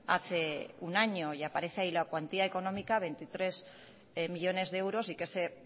hace un año y aparece ahí la cuantía económica veintitrés millónes de euros y que ese